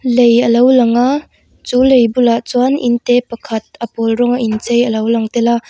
lei alo lang aaa chu lei bulah chuan in te pakhat a pawl rawng a inchei a lo lang tel a.